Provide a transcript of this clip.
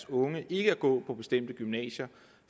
unge ikke at gå på bestemte gymnasier